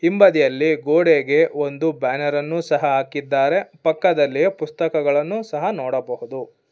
ಹಿಂಬದಿಯಲ್ಲಿ ಗೋಡೆಗೆ ಒಂದು ಬ್ಯಾನರ್ ಅನ್ನು ಸಹ ಹಾಕಿದ್ದಾರೆ ಪಕ್ಕದಲ್ಲಿ ಪುಸ್ತಕಗಳನ್ನು ಸಹ ನೋಡಬಹುದು.